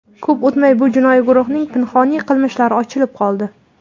Ko‘p o‘tmay, bu jinoiy guruhning pinhoniy qilmishlari ochilib qoldi.